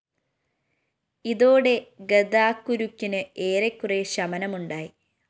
ഇതോടെ ഗതാക്കുരുക്കിന് ഏറെക്കുറെ ശമനമുണ്ടായി